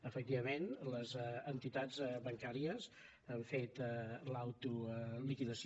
efectivament les entitats bancàries han fet l’autoliquidació